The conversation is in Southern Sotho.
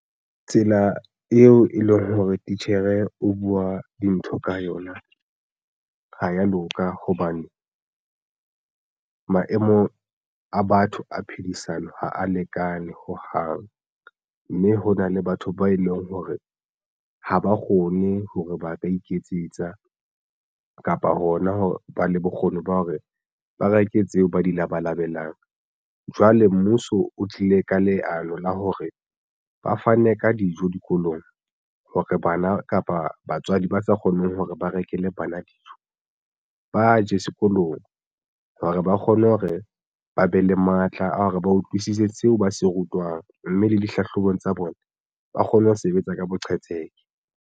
Tsela eo e leng hore titjhere o buwa dintho ka yona ha ya loka hobane maemong a batho a phedisano ha a lekane hohang, mme hona le batho ba e leng hore ha ba kgone hore ba ka iketsetsa kapa hona ho ba le bokgoni ba hore ba reke tseo ba di labalabelang. Jwale mmuso o tlile ka leano la hore ba fane ka dijo dikolong hore bana kapa batswadi ba sa kgoneng hore ba rekele bana dijo ba je sekolong hore ba kgone hore ba be le matla a hore ba utlwisise seo ba se rutwang mme le dihlahlobong tsa bona ba kgone ho sebetsa ka boqhetseke.